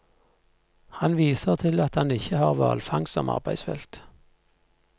Han viser til at han ikke har hvalfangst som arbeidsfelt.